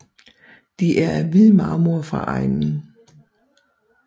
De er af hvid marmor fra egnen